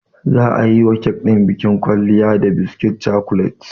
Za a yiwa kek ɗin bukin kwalliya da biskit cokolet.